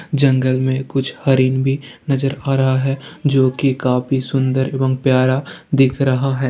जंगल में कुछ रहिम भी नज़र आ रहा है जो की काफी सुंदर ऐवम प्यारा दिख रहा है।